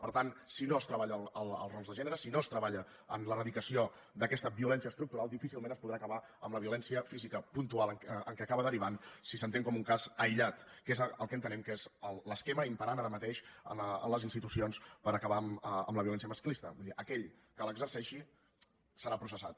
per tant si no es treballa els rols de gènere si no es treballa en l’eradicació d’aquesta violència estructural difícilment es podrà acabar amb la violència física puntual en què acaba derivant si s’entén com un cas aïllat que és el que entenem que és l’esquema imperant ara mateix en les institucions per acabar amb la violència masclista vull dir aquell que l’exerceixi serà processat